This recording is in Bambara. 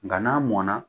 Nka n'a mɔnna